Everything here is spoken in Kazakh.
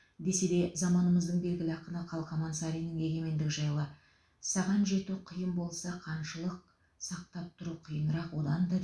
десе де заманымыздың белгілі ақыны қалқаман сариннің егемендік жайлы саған жету қиын болса қаншалық сақтап тұру қиынырақ одан да